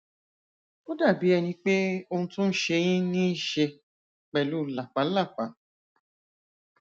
ó dàbí ẹni pé ohun tó n ṣe yín níí ṣe pẹlú làpálàpá